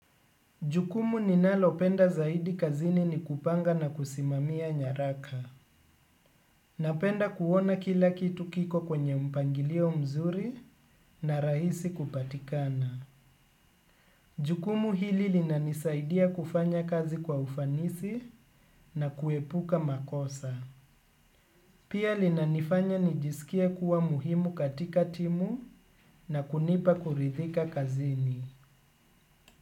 Jukumu ninalopenda zaidi kazini ni kupanga na kusimamia nyaraka. Napenda kuona kila kitu kiko kwenye mpangilio mzuri na rahisi kupatikana. Jukumu hili linani saidia kufanya kazi kwa ufanisi na kuepuka makosa. Pia linanifanya nijisikie kuwa muhimu katika timu na kunipa kuridhika kazini.